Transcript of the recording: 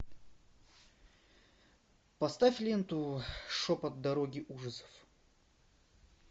поставь ленту шепот дороги ужасов